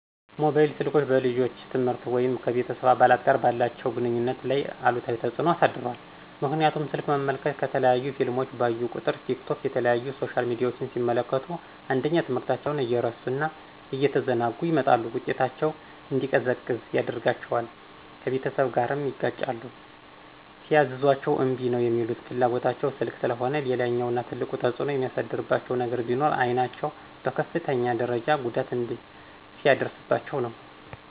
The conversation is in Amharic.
ሞባይል ስልኮች በልጆች የትምህርት ወይም ከቤተስብ አባላት ጋር ባላቸው ግንኙነት ላይ አሉታዊ ተፅኖ አሳድሯል ምክንያቱም ስልክ መመልከት፣ የተለያዩ ፊልሞችን ባዩ ቁጥር፣ ቲክቶክ የተለያዩ ሶሻል ሚዲያችን ሲመለክቱ አንደኛ ትምህርታቸውን እየረሱ እና እየተዘናጉ ይመጣሉ ውጤታቸው እንዲዘቀዝቅ ያደርጋቸዋል፣ ከቤተሰብ ጋርም ይጋጫሉ ሲያዝዟቸ እምቢ ነው ሚሉት ፍላጎታቸው ስልክ ስለሆነ። ሌላኛውና ትልቁ ተፅኖ የሚያሳድርባቸው ነገር ቢኖር አይናቸውን በከፍተኛ ደርጃ ጉዳት ሲያደርስባቸው ነው።